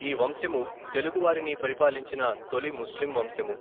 ఈ వంశము తెలుగు వారిని పరిపాలించిన తొలి ముస్లిం వంశము.